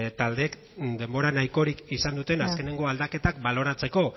taldeek denbora nahikorik izan duten azkeneko aldaketak baloratzeko